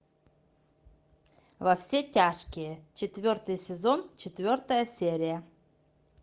во все тяжкие четвертый сезон четвертая серия